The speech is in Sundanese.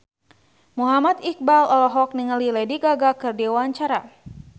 Muhammad Iqbal olohok ningali Lady Gaga keur diwawancara